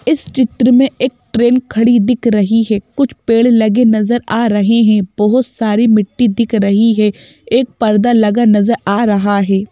इस चित्र में एक ट्रेन खड़ी दिख रही है कुछ पेड़ लगे नजर आ रहे हैं बहुत सारी मिट्टी दिख रही है एक पर्दा लगा नजर आ रहा है।